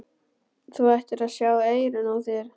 Þú ættir að sjá eyrun á þér!